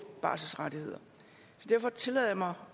barselsrettigheder så derfor tillader jeg mig